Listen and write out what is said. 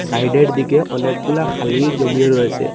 সাইডের দিকে অনেকগুলা খালি জমিও রয়েসে।